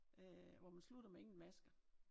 Øh hvor man slutter med ingen masker